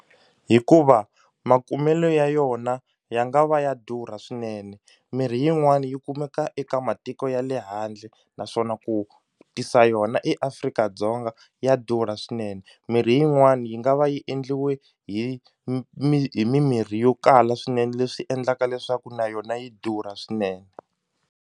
Hikuva makumelo ya yona ya nga va ya durha swinene mirhi yin'wani yi kumeka eka matiko ya le handle naswona ku tisa yona eAfrika-Dzonga ya durha swinene mirhi yin'wani yi nga va yi endliwe hi hi mimirhi yo kala swinene leswi endlaka leswaku na yona yi durha swinene.